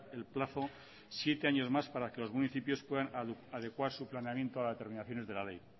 el plazo siete años más para que los municipios puedan adecuar su planeamiento a las determinaciones de la ley